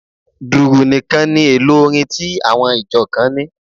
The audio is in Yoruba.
Dùrù nìkan ni èlò orin tí àwọn ìjọ kan ní.